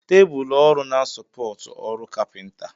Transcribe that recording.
Tebụl ọrụ na sopọti ọrụ kapinta.